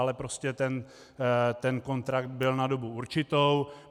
Ale prostě ten kontrakt byl na dobu určitou.